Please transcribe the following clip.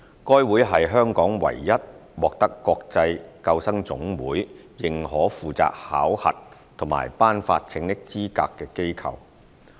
該會是香港唯一獲得國際救生總會認可負責考核及頒發拯溺資格的機構。